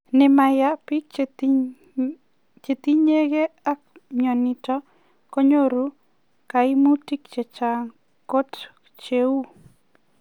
Nemayaan, piik chetinyegei ak mionitok konyoruu kaimutik chechang kot cheu